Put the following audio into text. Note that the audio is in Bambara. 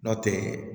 Nɔ tɛ